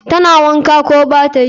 Tana wanka, ko batayi?